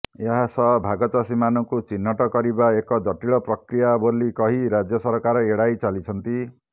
ଏହାସହ ଭାଗଚାଷୀମାନଙ୍କୁ ଚିହ୍ନଟ କରିବା ଏକ ଜଟିଳ ପ୍ରକ୍ରିୟା ବୋଲି କହି ରାଜ୍ୟ ସରକାର ଏଡାଇ ଚାଲିଛନ୍ତି